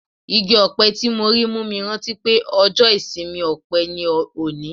Igi-ọpẹ tí mo rí mú mi rántí pé ọjọ́ ìsinmi ọpẹ ni òní.